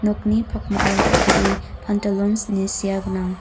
nokni pakmao dal·bee pantalons ine sea gnang.